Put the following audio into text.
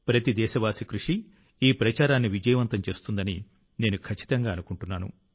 ప్రతి దేశస్థుని కృషి ఈ ప్రచారాన్ని విజయవంతం చేస్తుందని నేను ఖచ్చితంగా అనుకుంటున్నాను